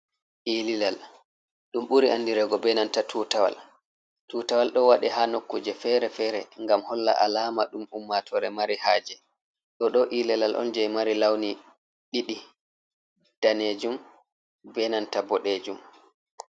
Eh lilal, ɗum ɓuri andireego enanta tutawal, tutawal ɗon waɗe ha nokkuje feere feere ngam holla alama ɗum ummatoore mari haje, ɗoɗo eh lilal on je mari launi ɗiɗi daneejum benanta ɓoɗeejum.